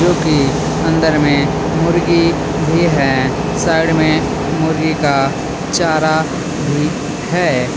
क्योंकि अंदर में मुर्गी भी है साइड में मुर्गी का चारा भी है.